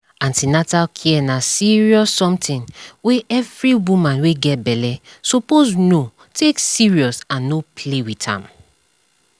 an ten atal care na serious something wey every woman wey get belle suppose know take serious and no play with am